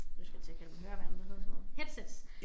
Nu skulle jeg til at kalde dem høreværn hvad hedder sådan nogle headsets